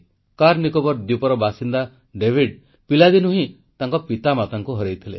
କାର୍ନିକୋବାର ଦ୍ୱୀପର ବାସିନ୍ଦା ଡାଭିଡ ପିଲାଦିନୁ ହିଁ ତାଙ୍କ ପିତାମାତାଙ୍କୁ ହରାଇଥିଲେ